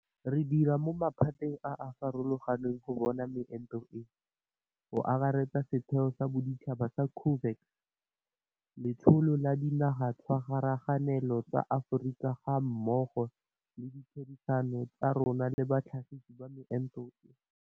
Re dira mo maphateng a a farologang go bona meento e, go akaretsa setheo sa boditšhaba sa COVAX, letsholo la Dinagatshwaraganelo tsa Aforika gammogo le ditherisano tsa rona le batlhagisi ba meento e.